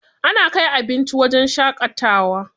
Ana kai abinci wajen shaƙatawa.